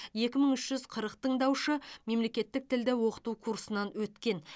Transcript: екі мың үш жүз қырық тыңдаушы мемлекеттік тілді оқыту курсынан өткен